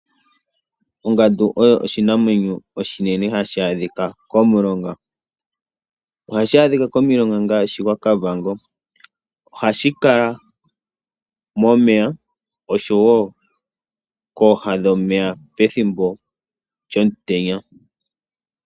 Ongandu oyo oshinamwenyo oshinene hashi adhika komulonga. Ohashi adhika komilonga ngaashi, gwaKavango. Ohashi kala momeya, noshowo kooha dhomeya pethimbo lyomutenya.